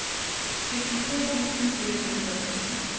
syttifire tusen fire hundre og sytten